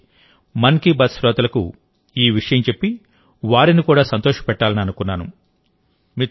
అందుకే మన్ కీ బాత్ శ్రోతలకు ఈ విషయం చెప్పి వారిని కూడా సంతోషపెట్టాలని అనుకున్నాను